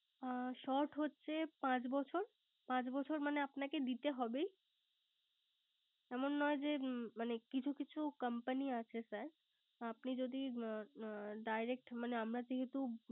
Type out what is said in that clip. অ Short হচ্ছে পাচ বছর। অ পাচ বছর মানে আপনাকে দিতে হবেই। এমন নয় যে sir কিছু কিছু Company আছে ্আপনি যদি Direct আমরা যেহেতু